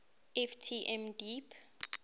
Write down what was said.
ft m deep